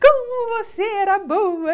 Como você era boa!